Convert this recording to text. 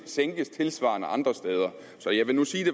sænkes tilsvarende andre steder så jeg vil nu sige at